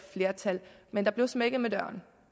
flertal men der blev smækket med døren